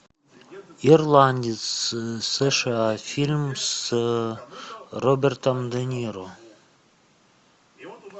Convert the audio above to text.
ирландец сша фильм с робертом де ниро